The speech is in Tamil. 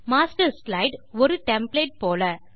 மாஸ்டர் ஸ்லைடு ஒரு டெம்ப்ளேட் போல